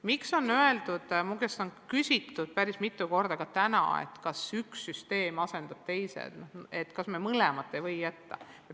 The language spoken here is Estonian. Minu käest on küsitud päris mitu korda ka täna, kas üks süsteem asendub teisega ja kas me mõlemat ei või jätta.